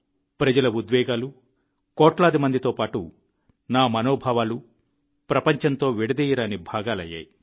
ప్రజల ఉద్వేగాలు కోట్లాది మందితో పాటు నా మనోభావాలు ప్రపంచంలో విడదీయరాని భాగాలయ్యాయి